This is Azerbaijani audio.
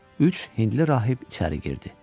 Üç hindli rahib içəri girdi.